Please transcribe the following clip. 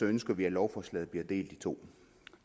ønsker vi at lovforslaget bliver delt i to